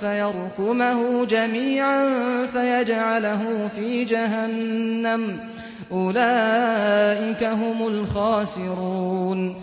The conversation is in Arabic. فَيَرْكُمَهُ جَمِيعًا فَيَجْعَلَهُ فِي جَهَنَّمَ ۚ أُولَٰئِكَ هُمُ الْخَاسِرُونَ